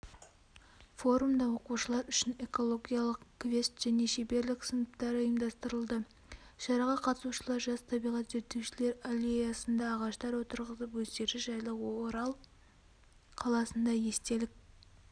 форумда оқушылар үшін экологиялық квест және шеберлік-сыныптары ұйымдастырылды шараға қатысушылар жас табиғат зерттеушілер аллеясында ағаштар отырғызып өздері жайлы орал қаласында естелік